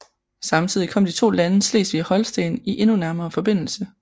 Samtidig kom de to lande Slesvig og Holsten i endnu nærmere forbindelse